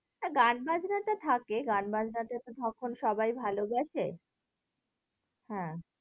গান বাজনা টা থাকে, গান বাজনা এখন সবাই ভালোবাসে। হ্যাঁ